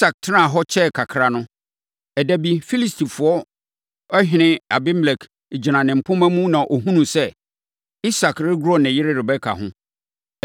Isak tenaa hɔ kyɛɛ kakra no, ɛda bi, Filistifoɔ ɔhene Abimelek gyina ne mpomma mu na ɔhunuu sɛ Isak regoro ne yere Rebeka ho.